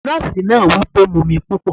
Drink plenty of water! the nurse said